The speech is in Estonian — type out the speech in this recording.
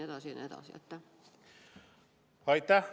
Aitäh!